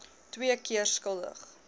twee keer skuldig